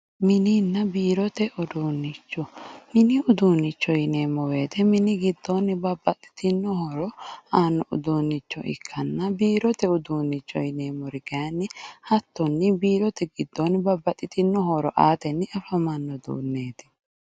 mininna biirote uduunnicho mini uduunnicho yineemmo wote mini giddoonni babbaxitino dani horo aanno uduunnicho ikkanna biirote uduunnicho yineemmkori kayiinni hattonni biirote giddoonni babbaxitino horo aateni afamanno uduunneeti.